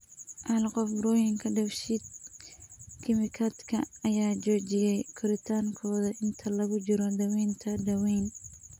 Hal qof, burooyinka dheef-shiid kiimikaadka ayaa joojiyay koritaankooda inta lagu jiro daaweynta daweyn .